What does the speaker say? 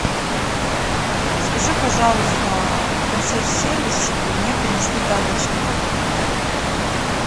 скажи пожалуйста в консьерж сервис чтобы мне принесли тапочки